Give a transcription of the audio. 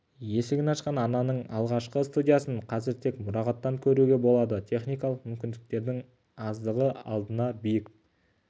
есігін ашқан арнаның алғашқы студиясын қазір тек мұрағаттан көруге болады техникалық мүмкіндіктердің аздығы алдына биік